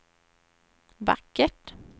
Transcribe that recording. vackert